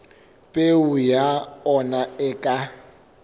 peo ya ona e ka